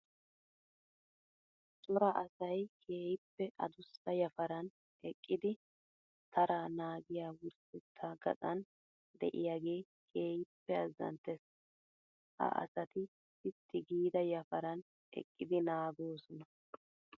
Cora asay keehippe adussa yafaran eqqidi tara naagiya wurssetta gaxanann de'iyage keehippe azanttees. Ha asati sitti giida yafaran eqqidi naagosonna.